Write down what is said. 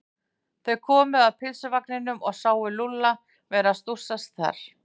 Þau komu að pylsuvagninum og sáu Lúlla vera að stússa þar.